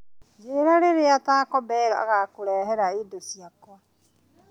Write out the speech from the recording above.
Njĩĩra rĩrĩa taco bell ĩgaakũrehera indo ciakwa